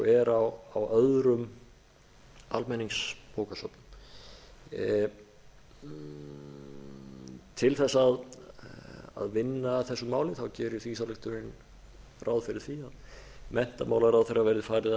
er á öðrum almenningsbókasöfnum til að vinna að þessum málum gerir þingsályktunin ráð fyrir því að menntamálaráðherra verði falið